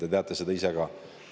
Te teate seda ise ka.